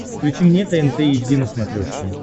включи мне тнт эйч ди на смотрешке